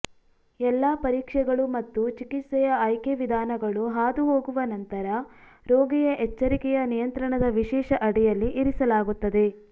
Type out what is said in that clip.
ಎಲ್ಲಾ ಪರೀಕ್ಷೆಗಳು ಮತ್ತು ಚಿಕಿತ್ಸೆಯ ಆಯ್ಕೆ ವಿಧಾನಗಳು ಹಾದುಹೋಗುವ ನಂತರ ರೋಗಿಯ ಎಚ್ಚರಿಕೆಯ ನಿಯಂತ್ರಣದ ವಿಶೇಷ ಅಡಿಯಲ್ಲಿ ಇರಿಸಲಾಗುತ್ತದೆ